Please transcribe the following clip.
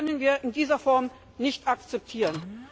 Das können wir in dieser Form nicht akzeptieren.